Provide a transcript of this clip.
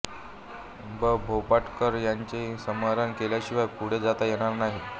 ब भोपटकर यांचेही स्मरण केल्याशिवाय पुढे जाता येणार नाही